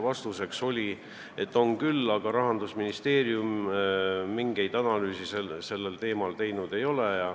Vastuseks kõlas, et on küll, aga Rahandusministeerium mingeid analüüse sellel teemal teinud ei ole.